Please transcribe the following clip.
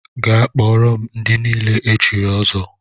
Gaa kpọọrọ m ndị niile e chiri ọzọ!